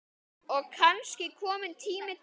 Og kannski kominn tími til.